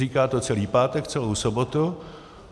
Říká to celý pátek, celou sobotu.